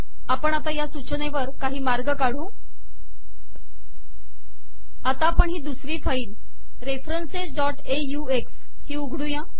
आपण आता या सूचनेवर काही मार्ग काढू आता आपण ही दुसरी फाईल referencesऑक्स ही उघडूया